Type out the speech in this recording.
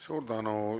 Suur tänu!